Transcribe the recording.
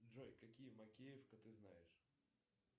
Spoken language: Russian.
джой какие макеевка ты знаешь